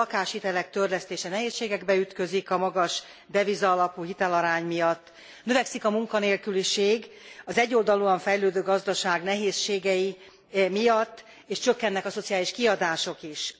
A lakáshitelek törlesztése nehézségekbe ütközik a magas deviza alapú hitelarány miatt, növekszik a munkanélküliség az egyoldalúan fejlődő gazdaság nehézségei miatt és csökkennek a szociális kiadások is.